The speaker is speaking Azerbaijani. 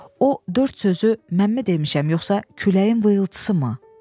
O dörd sözü mənmi demişəm, yoxsa küləyin vıyılıtısımı?